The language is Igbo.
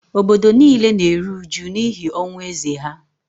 obodo nile na-eru uju n’ihi ọnwụ eze ha